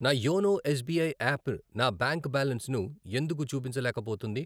నా YONO S B I app నా bank బ్యాలెన్సును ఎందుకు చూపించలేకపోతుంది?